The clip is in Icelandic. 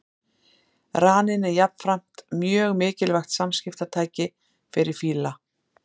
Raninn er jafnframt mjög mikilvægt samskiptatæki fyrir fíla.